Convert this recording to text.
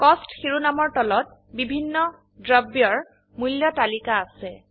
কষ্ট শিৰোনামৰ তলত বিভিন্ন দ্ৰব্যৰ মূল্য তালিকা আছে